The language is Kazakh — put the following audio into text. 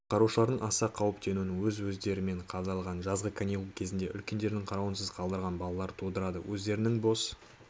құтқарушылардың аса қауіптенуін өз өздерімен қалдырылған жазғы каникул кезінде үлкендердің қарауынсыз қалдырылған балалар тудырады өздерінің бос